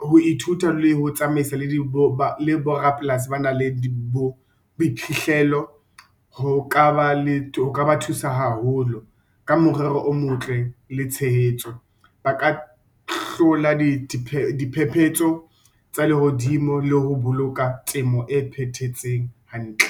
ho ithuta le ho tsamaisa le bo rapolasi ba nang le bo boiphihlelo, ho ka ba thusa haholo ka morero o motle le tshehetso. Ba ka hlola diphephetso tsa lehodimo le ho boloka temo e phethahetseng hantle.